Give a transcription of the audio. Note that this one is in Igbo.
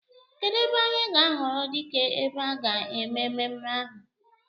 Kedụ ebe anyị ga-ahọrọ dike ebe a ga-eme mmemme ahụ?